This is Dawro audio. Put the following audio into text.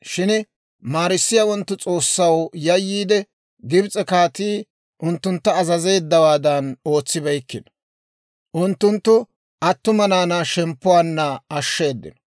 Shin maarissiyaawanttu S'oossaw yayyiide, Gibs'e kaatii unttuntta azazeeddawaadan ootsibeykkino. Unttunttu attuma naanaa shemppuwaanna ashsheeddino.